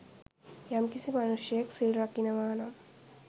යම්කිසි මනුෂ්‍යයෙක් සිල් රකිනවානම්